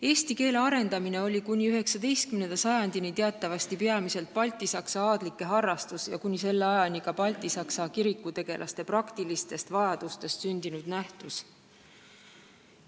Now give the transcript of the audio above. Eesti keele arendamine oli kuni 19. sajandini teatavasti peamiselt baltisaksa aadlike harrastus ja kuni selle ajani ka baltisaksa kirikutegelaste praktilistest vajadustest sündinud nähtus.